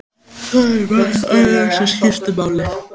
Það er margt annað sem skiptir máli.